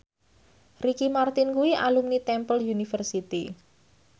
Ricky Martin kuwi alumni Temple University